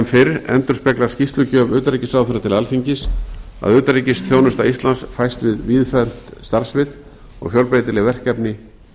fyrr endurspeglar skýrslugjöf utanríkisráðherra til alþingis að utanríkisþjónusta íslands fæst við víðfeðmt starfssvið og fjölbreytileg verkefni